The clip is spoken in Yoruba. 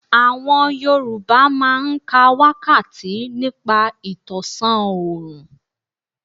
Àwọn Yorùbá máa ń ka wákàtí nípa ìtọ̀sán òrùn.